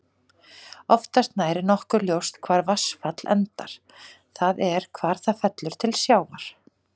Oftast nær er nokkuð ljóst hvar vatnsfall endar, það er hvar það fellur til sjávar.